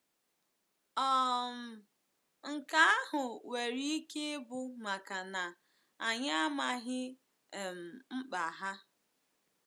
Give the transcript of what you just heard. um Nke ahụ nwere ike ịbụ maka na anyị amaghị um mkpa ha.